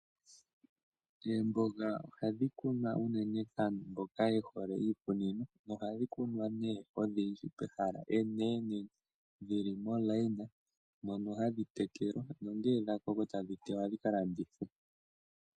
Oomboga ohadhi kunwa unene kaantu mboka ye hole iikunino . Ohadhi kunwa nduno odhindji pehala enene dhili momukweyo mono hadhi tekelwa no ngele dhakoko tashi tewa dhika landithwe.